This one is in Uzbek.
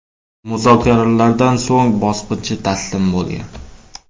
Muzokaralardan so‘ng bosqinchi taslim bo‘lgan.